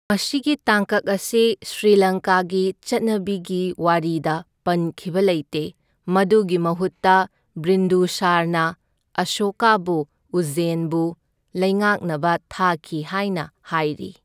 ꯃꯁꯤꯒꯤ ꯇꯥꯡꯀꯛ ꯑꯁꯤ ꯁ꯭ꯔꯤꯂꯪꯀꯥꯒꯤ ꯆꯠꯅꯕꯤꯒꯤ ꯋꯥꯔꯤꯗ ꯄꯟꯈꯤꯕ ꯂꯩꯇꯦ, ꯃꯗꯨꯒꯤ ꯃꯍꯨꯠꯇ ꯕꯤꯟꯗꯨꯁꯥꯔꯅ ꯑꯁꯣꯀꯥꯕꯨ ꯎꯖꯖꯦꯟꯕꯨ ꯂꯩꯉꯥꯛꯅꯕ ꯊꯥꯈꯤ ꯍꯥꯏꯅ ꯍꯥꯏꯔꯤ꯫